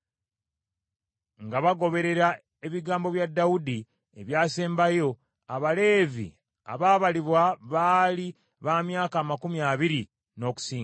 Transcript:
Nga bagoberera ebigambo bya Dawudi ebyasembayo, Abaleevi abaabalibwa baali ba myaka amakumi abiri n’okusingawo.